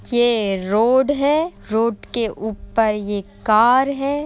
ये रोड है। रोड के ऊपर ये कार है।